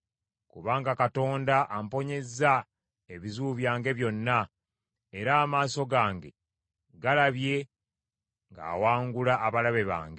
Kubanga Katonda amponyezza ebizibu byange byonna; era amaaso gange galabye ng’awangula abalabe bange.